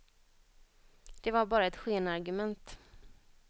Det var bara ett skenargument.